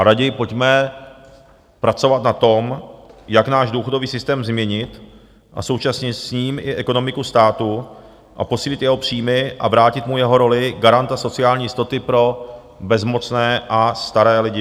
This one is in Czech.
A raději pojďme pracovat na tom, jak náš důchodový systém změnit a současně s ním i ekonomiku státu a posílit jeho příjmy a vrátit mu jeho roli garanta sociální jistoty pro bezmocné a staré lidi.